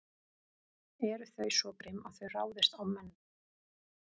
Eru þau svo grimm að þau ráðist á menn?